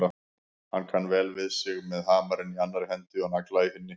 Hann kann vel við sig með hamarinn í annarri hendi og nagla í hinni.